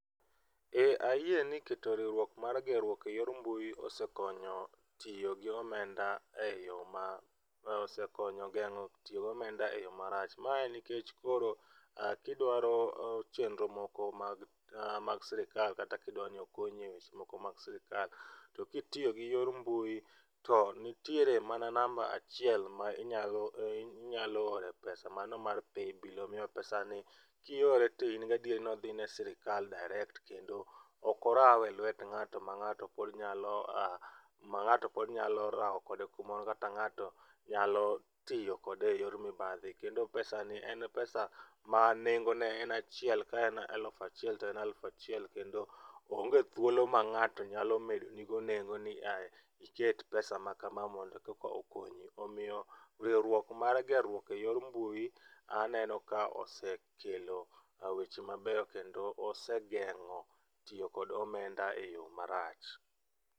Eeeh, ayie ni keto riwruok mar gerruok eyor mbui osekonyo tiyo gi omenda eyoo ma, osekonyo gengo tiyo gi omenda e yoo marach. Ma en nikech koro kidwaro chenro moko mag, mag sirkal kata kidwani okonyi e chenro moko mag sirkal to kitiyo gi yor mbui to nitie mana namba achiel ma inyalo, inyalo ore pesa mano mar paybill. Omiyo pesani kiore to in gi adiera ni odhi ne sirkal direct[c] kendo ok orawe lwet ng'ato ma ng'ato pod nyalo, ma ng'ato pod nyalo raw kode kumoro kata ng'ato nyalo tiyo kode e yor mibadhi kendo pesani en [c]pesa ma nengone en achiel kaen aluf achiel toen aluf achiel kendo onge thuolo ma ng'ato nyalo medoni go nengo ni aa, iket pesa makama mondo koka okonyo. Omiyo riwrouok mar gerruok eyor mbui aneno ka osekelo weche maber kendo osegengo tiyo kod omenda e yoo marach